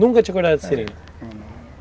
Nunca tinha cortado seringa?